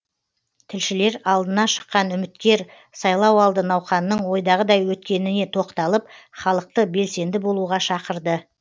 тілшілер алдына шыққан үміткер сайлауалды науқанның ойдағыдай өткеніне тоқталып халықты белсенді болуға шақырды